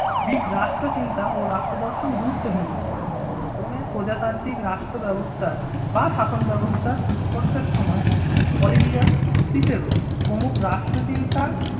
Greek রাষ্ট্রচিন্তা ও রাষ্ট্র দর্শন গুরুত্বহীন হয়ে পড়ে রোমের প্রজাতান্ত্রিক রাষ্ট্রব্যবস্থার বা শাসন ব্যবস্থার উৎকর্ষের সময় অলিভিয়াস সিসেবল প্রমুখ রাষ্ট্রচিন্তায়